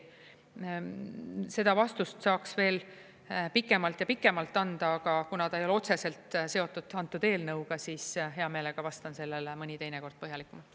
Seda vastust saaks veel pikemalt ja pikemalt anda, aga kuna ta ei ole otseselt seotud antud eelnõuga, siis hea meelega vastan sellele mõni teine kord põhjalikumalt.